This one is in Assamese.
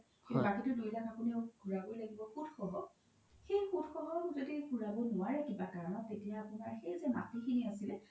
বাকিতো দুই লাখ আপোনি ঘুৰাবই লাগিব সুত সহ সেই সুত য্দি ঘুৰাব নোৱাৰে কিবা কাৰনত তেতিয়া আপোনাৰ সেই যে মাতি খিনি আছিলে